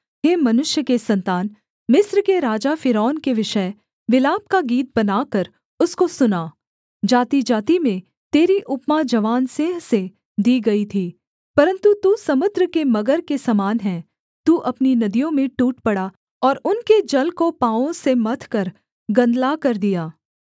हे मनुष्य के सन्तान मिस्र के राजा फ़िरौन के विषय विलाप का गीत बनाकर उसको सुना जातिजाति में तेरी उपमा जवान सिंह से दी गई थी परन्तु तू समुद्र के मगर के समान है तू अपनी नदियों में टूट पड़ा और उनके जल को पाँवों से मथकर गंदला कर दिया